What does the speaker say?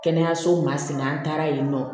Kɛnɛyasow ma sen na an taara yen nɔ